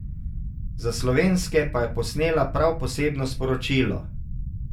Za slovenske pa je posnela prav posebno sporočilo.